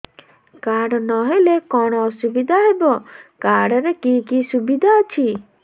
card ନହେଲେ କଣ ଅସୁବିଧା ହେବ କାର୍ଡ ରେ କି କି ସୁବିଧା ଅଛି